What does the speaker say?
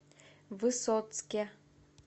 высоцке